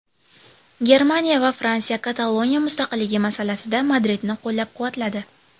Germaniya va Fransiya Kataloniya mustaqilligi masalasida Madridni qo‘llab-quvvatladi.